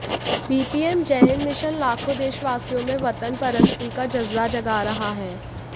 BPM Jaihind mission लाखों देशवासियों में वतन परस्ती का जज़्बा जगा रहा है